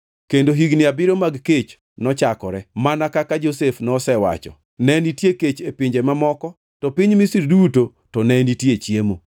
kendo higni abiriyo mag kech nochakore, mana kaka Josef nosewacho. Ne nitie kech e pinje mamoko, to piny Misri duto ne nitie chiemo.